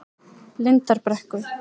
Lindarbrekku